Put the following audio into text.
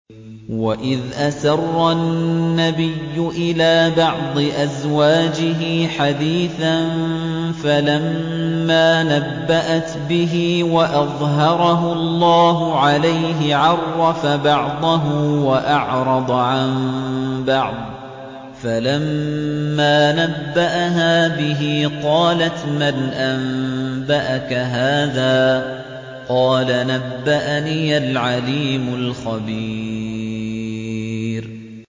وَإِذْ أَسَرَّ النَّبِيُّ إِلَىٰ بَعْضِ أَزْوَاجِهِ حَدِيثًا فَلَمَّا نَبَّأَتْ بِهِ وَأَظْهَرَهُ اللَّهُ عَلَيْهِ عَرَّفَ بَعْضَهُ وَأَعْرَضَ عَن بَعْضٍ ۖ فَلَمَّا نَبَّأَهَا بِهِ قَالَتْ مَنْ أَنبَأَكَ هَٰذَا ۖ قَالَ نَبَّأَنِيَ الْعَلِيمُ الْخَبِيرُ